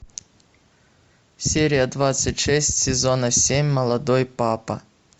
серия двадцать шесть сезона семь молодой папа